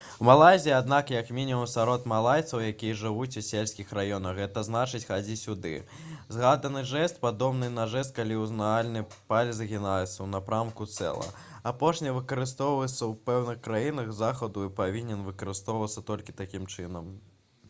у малайзіі аднак як мінімум сярод малайцаў якія жывуць у сельскіх раёнах гэта значыць «хадзі сюды». згаданы жэст падобны на жэст калі ўказальны палец згінаецца ў напрамку цела. апошні выкарыстоўваецца ў пэўных краінах захаду і павінен выкарыстоўвацца толькі такім чынам